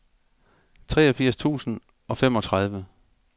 treogfirs tusind og femogtredive